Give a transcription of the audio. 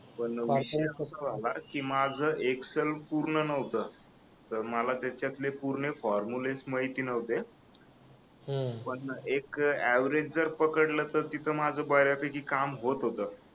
पण विषय असा झाला की माझ एक्सेल पूर्ण नव्हतं तर मला त्याच्यातले पूर्ण फॉर्मुले माहिती नव्हते पण एक अवरेज जर पकडलं तर तिथे माझं बऱ्यापैकी काम होत होतं